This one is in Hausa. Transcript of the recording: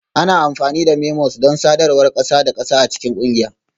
Ana amfani da memos don sadarwar ƙasa da ƙasa a cikin ƙungiya